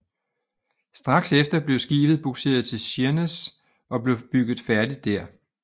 Straks efter blev skibet bugseret til Sheerness og blev bygget færdigt der